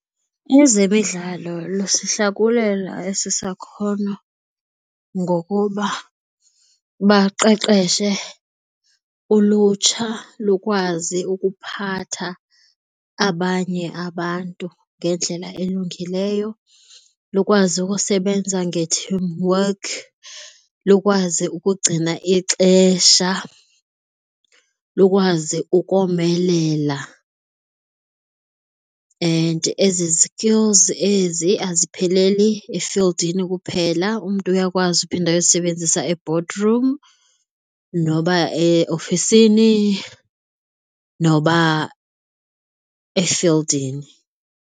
Ezemidlalo lusihlakulela esi sakhono ngokuba baqeqeshe ulutsha lukwazi ukuphatha abanye abantu ngendlela elungileyo, lukwazi ukusebenza nge-team work, lukwazi ukugcina ixesha, lukwazi ukomelela and ezi skills ezi azipheleli efildini kuphela, umntu uyakwazi uphinda uyozisebenzisa e-boardroom noba eofisini noba efildini.